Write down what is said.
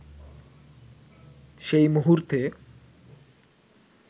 সেই মুহূর্তে